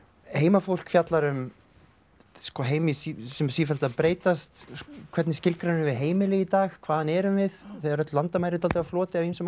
heimafólk fjallar um heim sem er sífellt að breytast hvernig skilgreinum við heimili í dag hvaðan erum við þegar öll landamæri eru dálítið á floti